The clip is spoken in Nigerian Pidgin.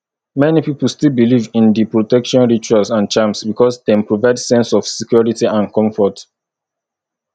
many people still believe in di protection rituals and charms because dem provide sense of security and comfort